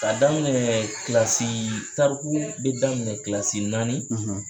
K'a daminɛ tariku bɛ daminɛ naani